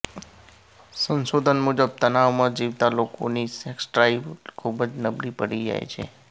સંશોધન મુજબ તણાવમાં જીવતા લોકોની સેક્સ ડ્રાઇવ ખૂબ જ નબળી પડી જાય છે